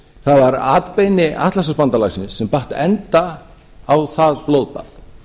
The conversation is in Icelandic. það var atbeini atlantshafsbandalagsins sem batt enda á það blóðbað